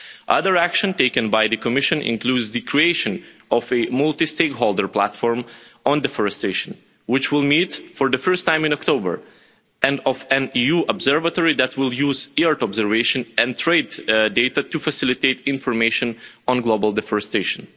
Other action taken by the Commission includes the creation of a multi stakeholder platform on deforestation, which will meet for the first time in October and of an EU observatory that will use the earth observation and trade data to facilitate information on global deforestation.